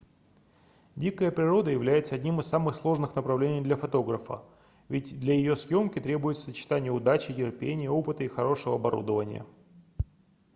дикая природа является одним из самых сложных направлений для фотографа ведь для её съёмки требуется сочетание удачи терпения опыта и хорошего оборудования